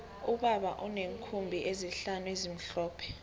ubaba uneenkhumbi ezihlanu ezimhlophe